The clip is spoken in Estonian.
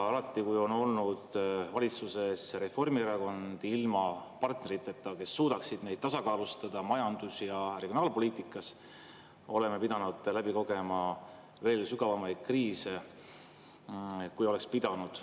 Alati, kui on olnud valitsuses Reformierakond ilma partneriteta, kes suudaksid neid tasakaalustada majandus- ja regionaalpoliitikas, oleme pidanud läbi kogema veel sügavamaid kriise, kui oleks pidanud.